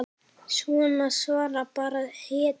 Svona svara bara hetjur.